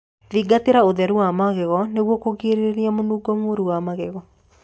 Thingatirĩa ũtheru wa magego nĩguo kũgirĩrĩrĩa munungo muru wa magego